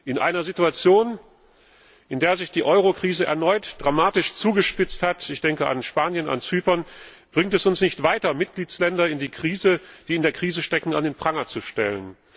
In einer Situation, in der sich die Eurokrise erneut dramatisch zugespitzt hat ich denke an Spanien, an Zypern bringt es uns nicht weiter, Mitgliedstaaten, die in der Krise stecken, an den Pranger zu stellen.